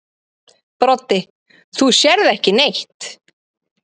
Broddi: Þú sérð ekki neitt.